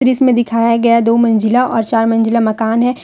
दृश्य में दिखाया गया दो मंजिला और चार मंजिला मकान है।